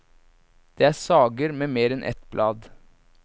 Det er sager med mer enn et blad.